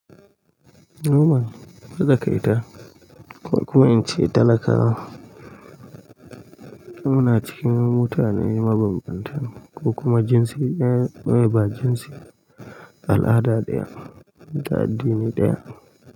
Nomal matsakaita ko kuma ince talakawa muna cikin mutane mabambantan ko kuma jinsi gen ba jinsi, al'ada ɗaya da addini ɗaya.